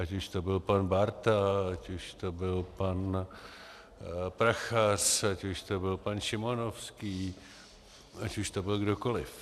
Ať už to byl pan Bárta, ať už to byl pan Prachař, ať už to byl pan Šimonovský, ať už to byl kdokoliv.